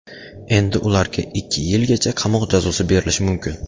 Endi ularga ikki yilgacha qamoq jazosi berilishi mumkin.